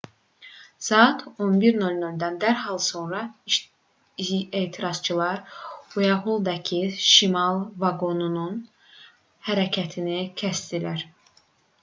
saat 11:00-dan dərhal sonra etirazçılar uaytholldakı şimal vaqonunun hərəkətini kəsdilər